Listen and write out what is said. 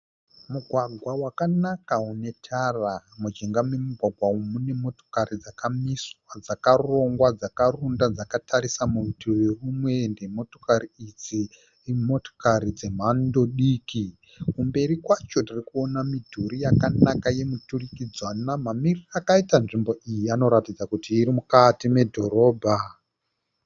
Mugwagwa wakanaka unetara. Mujinga memugwagwa umu mune motikari dzakamiswa dzakarongwa, dzakarunda dzakatarisa kurutivi rumwe. Motikari idzi imotikari dzemhando diki. Kumberi kwacho kune midhuri yakanaka yemiturikidzanwa. Mamiriro akaita nzvimbo iyi anoratidza kuti iri mukati medhorobha.